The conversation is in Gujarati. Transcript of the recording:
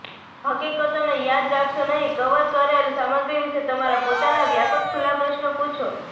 હકીકતોને યાદ રાખશો નહીં કવર કરેલ સામગ્રી વિશે તમારા પોતાના વ્યાપક ખુલ્લા પ્રશ્નો પૂછો